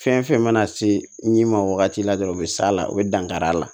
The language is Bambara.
Fɛn fɛn mana se n'i ma wagati la dɔrɔn u be s'a la u be dankari a la